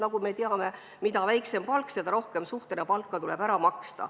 Nagu me teame: mida väiksem palk, seda rohkem protsendina palgast tuleb ära maksta.